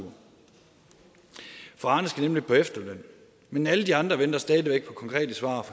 for arne skal nemlig på efterløn men alle de andre venter stadig væk på konkrete svar